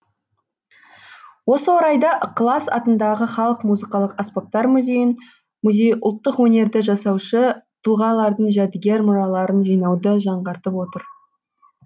осы орайда ықылас атындағы халық музыкалық аспаптар музейі ұлттық өнерді жасаушы тұлғалардың жәдігер мұраларын жинауды жаңғыртып отыр